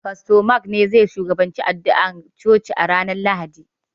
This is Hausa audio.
Fasto Maik ne zai shugabanci addu'a a coci ranar Lahadi.